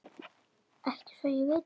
Ekki svo ég viti.